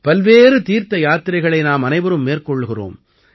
பல்வேறு தீர்த்த யாத்திரைகளை நாம் அனைவரும் மேற்கொள்கிறோம்